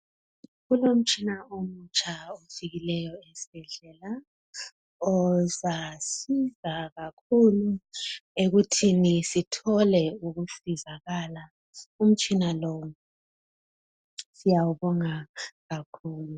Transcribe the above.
Kulomtshina omutsha ofikileyo esibhedlela ozasiza abantu kakhulu ekuthini sithole ukusizakala umutshina lo siyawubonga kakhulu.